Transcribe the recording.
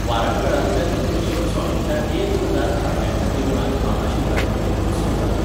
वारंगळांतल्या रुद्रेश्वर स्वामीच्या एक हजार खांब्यांच्या देवळांत महाशिवरात्रेचे उत्सव जातात.